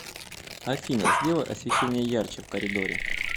афина сделай освещение ярче в коридоре